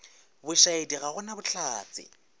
bošaedi ga go na bohlatse